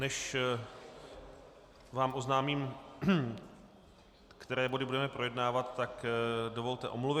Než vám oznámím, které body budeme projednávat, tak dovolte omluvy.